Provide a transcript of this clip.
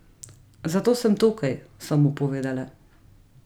Zato sem tukaj, sem mu povedala.